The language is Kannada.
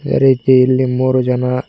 ಅದೆ ರೀತಿ ಇಲ್ಲಿ ಮೂರು ಜನ--